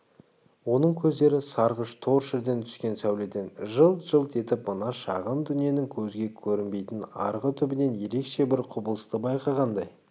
оның көздері сарғыш торшерден түскен сәуледен жылт-жылт етіп мына шағын дүниенің көзге көрінбейтін арғы түбінен ерекше бір құбылысты байқағандай